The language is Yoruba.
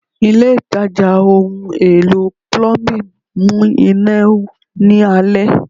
Ile itaja ohun elo Plumbing mu ina ni alẹ